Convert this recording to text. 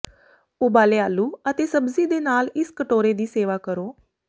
ਉਬਾਲੇ ਆਲੂ ਅਤੇ ਸਬਜ਼ੀ ਦੇ ਨਾਲ ਇਸ ਕਟੋਰੇ ਦੀ ਸੇਵਾ ਕਰੋ